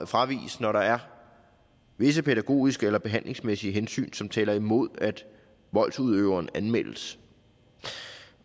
fraviges når der er visse pædagogiske eller behandlingsmæssige hensyn som taler imod at voldsudøveren anmeldes